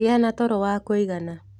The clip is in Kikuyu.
Gĩa na toro wa kũigana.